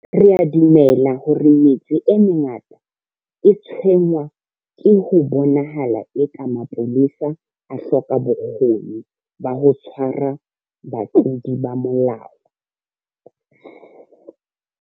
Re a dumela hore metse e mengata e tshwenngwa ke ho bonahalang eka mapolesa a hloka bokgoni ba ho tshwara batlodi ba molao.